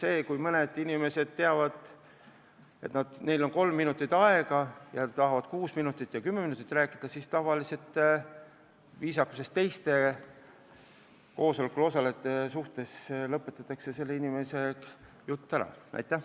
Noh, kui mõned inimesed teavad, et neil on aega kolm minutit, aga nad tahavad kuus või kümme minutit rääkida, siis tavaliselt viisakusest teiste koosolekul osalejate vastu lõpetatakse sellise inimese jutt viimaks ära.